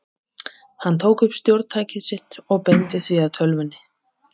Hann tók upp stjórntækið sitt og beindi því að tölvunni.